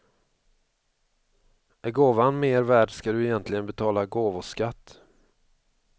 Är gåvan mer värd ska du egentligen betala gåvoskatt.